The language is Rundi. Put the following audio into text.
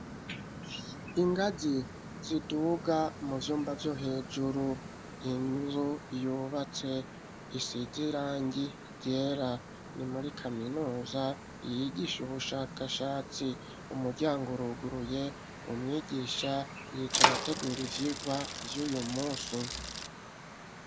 Ingazi ziduga mu vyumba vyo hejuru inzu yubatse isizirangi jera ni muri kaminuza yigisha ubushakashatsi umuryango uruguruye umwigisha yica yategure ivyirwa vy'uyu musi .